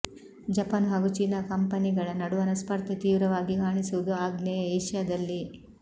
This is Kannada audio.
ಜಪಾನ್ ಹಾಗೂ ಚೀನಾ ಕಂಪನಿಗಳ ನಡುವಣ ಸ್ಪರ್ಧೆ ತೀವ್ರವಾಗಿ ಕಾಣಿಸುವುದು ಆಗ್ನೇಯ ಏಷ್ಯಾದಲ್ಲಿ